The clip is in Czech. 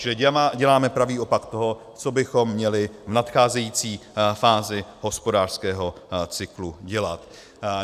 Čili děláme pravý opak toho, co bychom měli v nadcházející fázi hospodářského cyklu dělat.